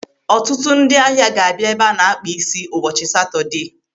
Ọtụtụ ndị ahịa ga-abịa ebe a na-akpa isi ụbọchị Satọdee.